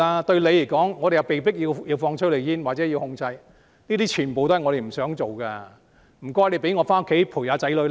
對你們而言，我們被迫要施放催淚煙或實施管制，這些全部不是我們想做的，請大家讓我們回家陪伴子女。